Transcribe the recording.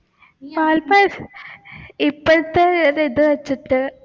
ഇപ്പോഴത്തെ ഒരു ഇത് വെച്ചിട്ട്